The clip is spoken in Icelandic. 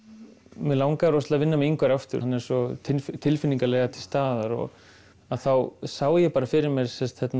mig langaði rosalega að vinna með Ingvari aftur hann er svo tilfinningalega til staðar þá sá ég bara fyrir mér